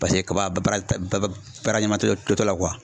Paseke kaba baara ba baara ɲanama t'o la